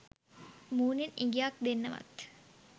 මූණෙන් ඉඟියක් දෙන්නවත්